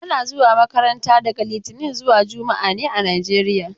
Ana zuwa makaranta daga litinin zuwa juma'a ne a Najeriya.